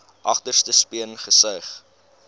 agterste speen gesuig